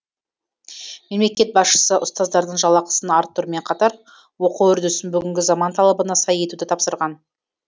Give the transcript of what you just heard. мемлекет басшысы ұстаздардың жалақасын арттырумен қатар оқу үрдісін бүгінгі заман талабына сай етуді тапсырған